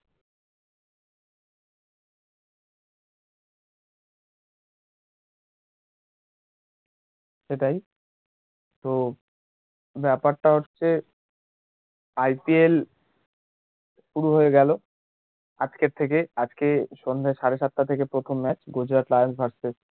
সেটাই তো ব্যাপারটা হচ্ছে IPL শুরু হয়ে গেলো আজকের থেকে আজকে সন্ধ্যা সাড়ে সাতটা থেকে প্রথম match গুজরাট টাইন্স verceus